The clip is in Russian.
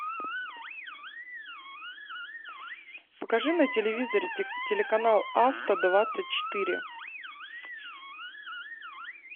покажи на телевизоре телеканал авто двадцать четыре